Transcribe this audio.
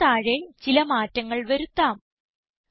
Costന് താഴെ ചില മാറ്റങ്ങൾ വരുത്താം